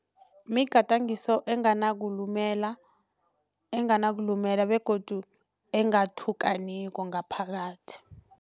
Migadangiso enganakulumela enganakulumela begodu engathukaniko ngaphakathi.